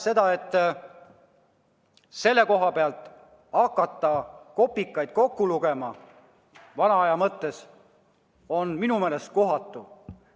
Selle koha pealt hakata kopikaid kokku lugema on minu meelest kohatu.